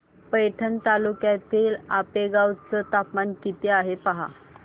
पैठण तालुक्यातील आपेगाव चं तापमान किती आहे पहा